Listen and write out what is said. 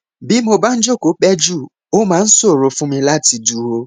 bí mo bá jókòó pẹ jù ó máa ń ṣòro fún mi láti dúró